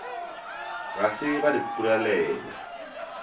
ga se ba re furalela